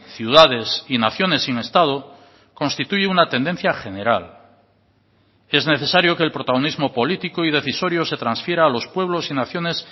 ciudades y naciones sin estado constituye una tendencia general es necesario que el protagonismo político y decisorio se transfiera a los pueblos y naciones